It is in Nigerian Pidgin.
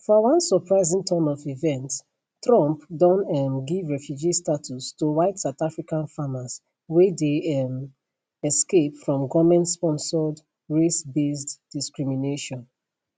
for one surprising turn of events trump don um give refugee status to white south african farmers wey dey um escape from goment sponsored racebased discrimination